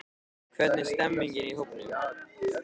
Hvernig stemmningin í hópnum?